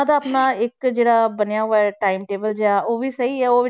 ਦਾ ਆਪਣਾ ਇੱਕ ਜਿਹੜਾ ਬਣਿਆ ਹੋਇਆ time table ਜਿਹਾ ਉਹ ਵੀ ਸਹੀ ਹੈ